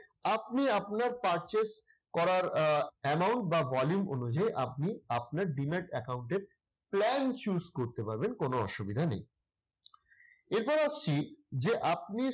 আপনি আপনার purchase করার আহ amount বা volume অনুযায়ী আপনি আপনার demat account এর plan choose করতে পারবেন কোন অসুবিধা নেই। এবার আসছি যে আপনি